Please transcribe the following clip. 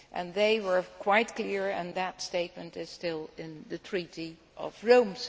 They were quite clear and that statement is still in the Treaty of Rome.